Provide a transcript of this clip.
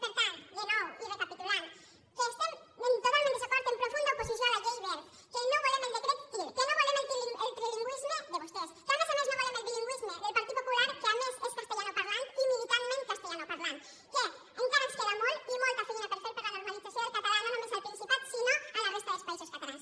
per tant de nou i recapitulant que estem totalment en desacord en profunda oposició a la llei wert que no volem el decret til que no volem el trilingüisme de vostès que a més a més no volem el bilingüisme del partit popular que a més és castellanoparlant i militantment castellanoparlant que encara ens queda molt i molta feina per fer per a la normalització del català no només al principat sinó a la resta dels països catalans